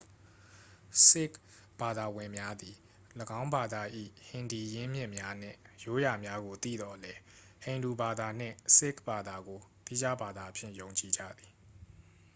ဆစ်ခ်ဘာသာဝင်များသည် ၎င်းဘာသာ၏ ဟင်ဒီ ရင်းမြစ်များနှင့် ရိုးရာများကို သိသော်လည်း ဟိန္ဒူဘာသာနှင့် ဆစ်ခ်ဘာသာကို သီးခြားဘာသာအဖြစ် ယုံကြည်ကြသည်